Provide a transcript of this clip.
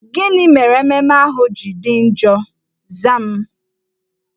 Gịnị mere ememme ahụ ji dị njọ? Zaa m!